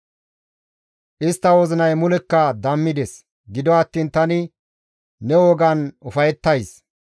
Istta wozinay mulekka dammides; gido attiin tani ne wogan ufayettays.